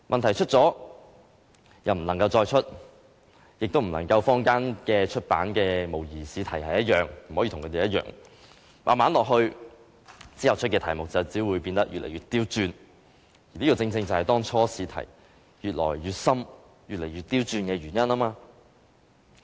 題目出過便不能再出，也不能跟坊間出版的模擬試題一樣，於是題目只會變得越來越刁鑽，這個正正是當初試題越來越深、越來越刁鑽的原因。